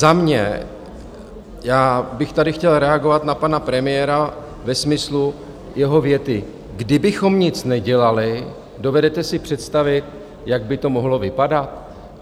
Za mě, já bych tady chtěl reagovat na pana premiéra ve smyslu jeho věty: Kdybychom nic nedělali, dovedete si představit, jak by to mohlo vypadat?